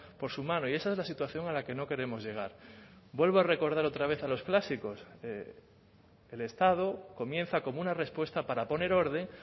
por su mano y esa es la situación a la que no queremos llegar vuelvo a recordar otra vez a los clásicos el estado comienza como una respuesta para poner orden